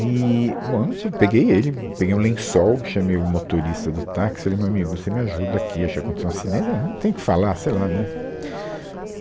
Eee, bom, eu não tinha, eu peguei ele, peguei um lençol, chamei o motorista do táxi, falei, meu amigo, você me ajuda aqui, acho que aconteceu um acidente, ahn, não tem o que falar, sei lá, né.